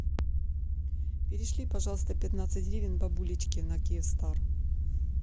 перешли пожалуйста пятнадцать гривен бабулечке на киевстар